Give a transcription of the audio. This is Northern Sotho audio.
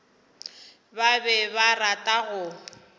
ba be ba rata go